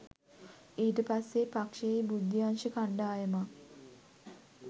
ඊට පස්සේ පක්ෂයේ බුද්ධි අංශ කණ්ඩායමක්